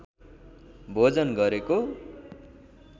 भोजन गरेको